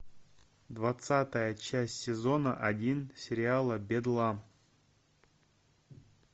двадцатая часть сезона один сериала бедлам